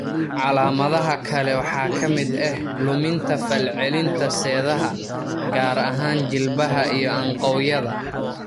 Calaamadaha kale waxaa ka mid ah luminta falcelinta seedaha, gaar ahaan jilbaha iyo anqawyada.